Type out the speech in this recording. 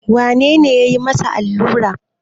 Wane ne ya yi masa alluran?